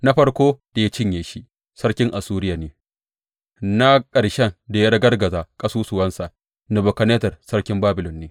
Na farkon da ya cinye shi sarkin Assuriya ne; na ƙarshen da ya ragargaza ƙasusuwansa Nebukadnezzar sarkin Babilon ne.